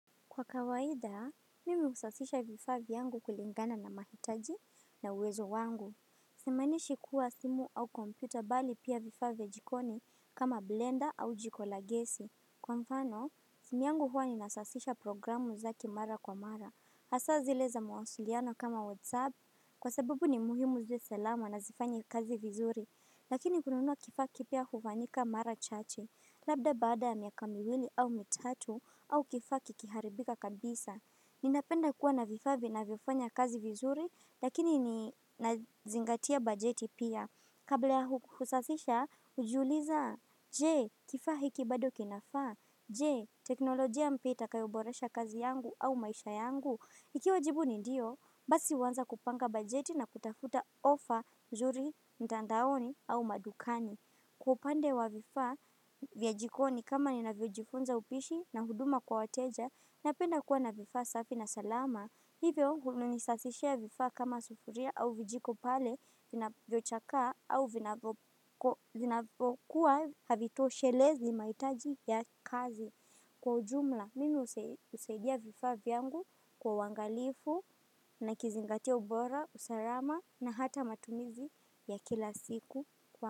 Kwa kawaida, mimi husafisha vifaa vyangu kulingana na mahitaji na uwezo wangu. Simaanishi kuwa simu au kompyuta bali pia vifaa vya jikoni kama blender au jiko la gesi. Kwa mfano, simu yangu huwa ni nasasisha programu zake mara kwa mara. Hasa zile za mawasiliano kama whatsapp kwa sababu ni muhimu ziwe salama na zifanye kazi vizuri. Lakini kununua kifaa kipya hufanyika mara chache. Labda baada miaka miwili au mitatu au kifaa kikiharibika kabisa. Ninapenda kuwa na vifaa vinavyofanya kazi vizuri lakini ninazingatia bajeti pia. Kabla ya hukusathisha hujiuliza je kifaa hiki bado kinafaa. Je teknolojia mpya itakayoboresha kazi yangu au maisha yangu. Ikiwa jibu ni ndio basi anza kupanga bajeti na kutafuta offer nzuri mtandaoni au madukani. Kwa upande wa vifaa vya jikoni kama ninavyojifunza upishi na huduma kwa wateja napenda kuwa na vifaa safi na salama. Hivyo, nisafishia vifaa kama sufuria au vijiko pale vinavyochaka au vinakuwa havitoshelezi mahitaji ya kazi. Kwa ujumla, mimi husaidia vifaa vyangu kwa uangalifu na kuzingatia ubora, usalama na hata matumizi ya kila siku kwa uangalifu.